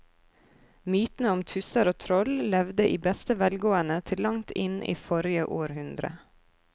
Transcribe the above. Mytene om tusser og troll levde i beste velgående til langt inn i forrige århundre.